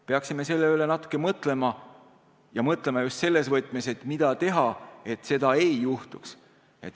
Peaksime selle üle natuke mõtlema ja mõtlema just selles võtmes, mida teha, et seda ei juhtuks.